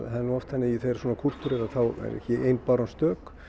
það er nú oft þannig að þegar svona kúltúr er þá er ekki ein báran stök